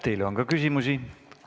Teile on ka küsimusi.